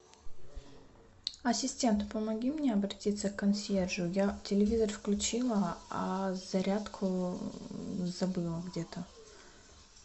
ассистент помоги мне обратиться к консьержу я телевизор включила а зарядку забыла где то